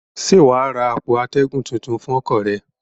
Ṣé wà á ra àpò atẹ́gùn tuntun fún ọkọ̀ rẹ?